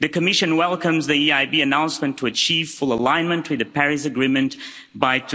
The Commission welcomes the EIB announcement to achieve full alignment with the Paris Agreement by